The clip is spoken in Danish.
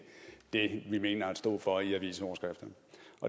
det vi mener at stå for i avisoverskrifterne